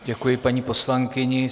Děkuji paní poslankyni.